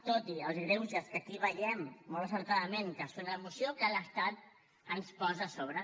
tot i els greuges que aquí veiem molt encertadament que són a la moció que l’estat ens posa a sobre